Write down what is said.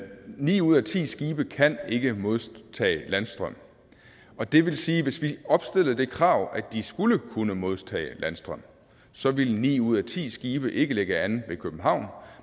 ni ud af ti skibe kan ikke modtage landstrøm og det vil sige at hvis vi opstillede det krav at de skulle kunne modtage landstrøm så ville ni ud af ti skibe ikke lægge an ved københavn